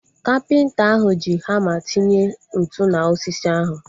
Kapịnta ahu ji hama tinye ntụ na osisi ahu